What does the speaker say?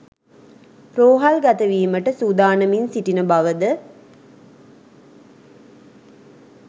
රෝහල් ගතවීමට සූදානමින් සිටින බවද